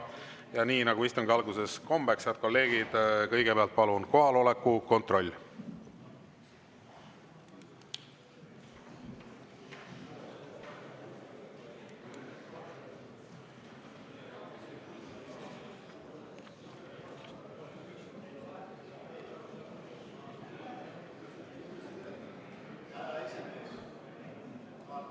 Ja nii nagu istungi alguses kombeks, head kolleegid, kõigepealt palun kohaloleku kontroll!